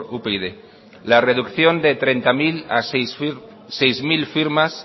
upyd la reducción de treinta mil a seis mil firmas